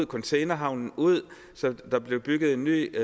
containerhavnen ud så der blev bygget en ny